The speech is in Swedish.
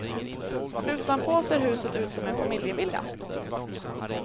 Utanpå ser huset ut som en familjevilla.